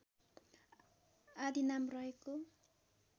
आदि नाम रहेको